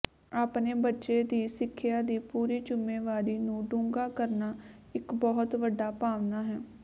ਆਪਣੇ ਬੱਚੇ ਦੀ ਸਿੱਖਿਆ ਦੀ ਪੂਰੀ ਜ਼ੁੰਮੇਵਾਰੀ ਨੂੰ ਡੂੰਘਾ ਕਰਨਾ ਇੱਕ ਬਹੁਤ ਵੱਡਾ ਭਾਵਨਾ ਹੈ